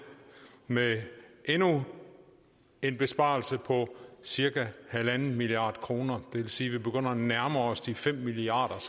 med endnu en besparelse på cirka en milliard kroner det vil sige vi begynder at nærme os de fem milliard